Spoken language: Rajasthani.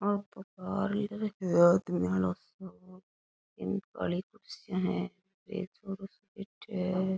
आ तो पार्लिया लगा है आदमियों को घाणी काली कुर्सियां है पीछे छोरो सो बैठ्यो है।